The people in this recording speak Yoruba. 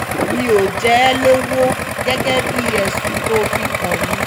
mi ò jẹ ẹ́ lọ́wọ́ gẹ́gẹ́ bíi ẹ̀sùn tó fi kàn mí